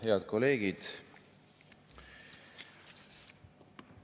Head kolleegid!